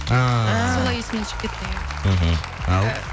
әәә солай есімнен шығып кетті иә мхм ал